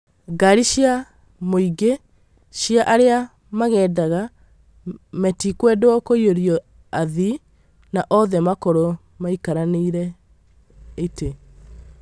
Ngari cia mũingĩ cia arĩa magendaga metikwendwo kũiyũrio athii, na othe makorwo maikarĩire itĩ